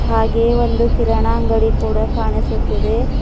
ಹಾಗೆ ಒಂದು ಕಿರಣ ಅಂಗಡಿ ಕೂಡ ಕಾಣಿಸುತ್ತಿದೆ.